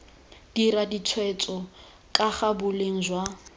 dira ditshwetso kaga boleng jwa